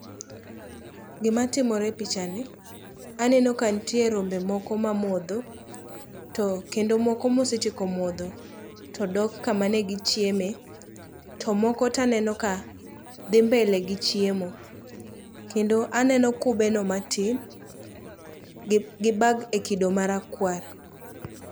Gimatimore e pichani, aneno kantie rombe moko mamodho to kendo moko mosetieko modho todok kamane gichieme to moko taneno ka dhi mbele gi chiemo. Kendo aneno kubeno matin gi bag e kido marakwar.